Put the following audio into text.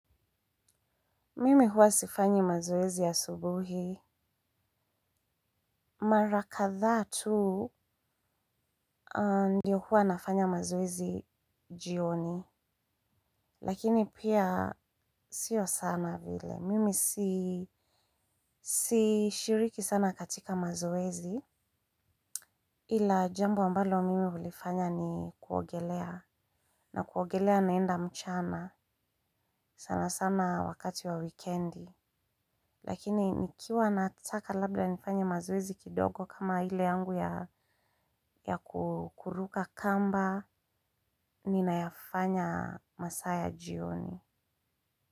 Mimi huwa sifanyi mazoezi asubuhi. Mara kadhaa tu ndio huwa nafanya mazoezi jioni. Lakini pia sio sana vile. Mimi sishiriki sana katika mazoezi. Ila jambo ambalo mimi ulifanya ni kuogelea. Na kuogelea naenda mchana. Sana sana wakati wa wikendi. Lakini nikiwa nataka labda nifanya mazoezi kidogo kama hile yangu ya kukuruka kamba, ninayafanya masaa ya jioni.